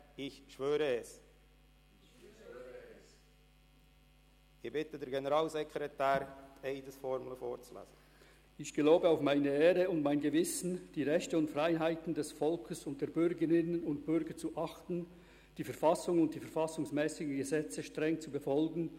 Ich bitte den Generalsekretär, die Eides- und die Gelübdeformel in deutscher und französischer Sprache vorzulesen.